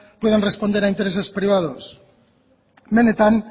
puedan responder a intereses privados benetan